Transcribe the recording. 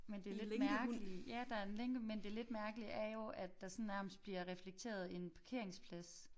Men det lidt mærkelige ja der er en lænke men det lidt mærkelige er jo at der sådan nærmest bliver reflekteret en parkeringsplads